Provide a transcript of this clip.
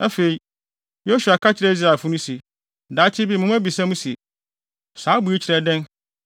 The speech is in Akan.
Afei, Yosua ka kyerɛɛ Israelfo no se, “Daakye bi mo mma bebisa se, ‘Saa abo yi kyerɛ dɛn?’